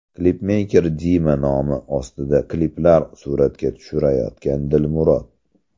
Klipmeyker Dima nomi ostida kliplar suratga tushirayotgan Dilmurod.